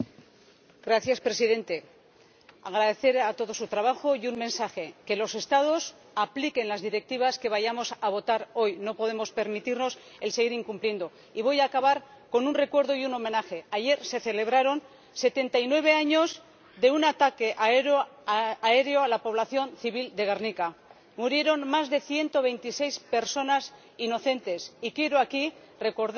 Señor Presidente, quiero agradecer a todos su trabajo y transmitir un mensaje que los Estados apliquen las Directivas que vamos a aprobar hoy. No podemos permitirnos seguir incumpliendo la legislación. Y voy a acabar con un recuerdo y un homenaje. Ayer se celebraron 79 años de un ataque aéreo a la población civil de Gernika. Murieron más de 126 personas inocentes. Quiero aquí recordar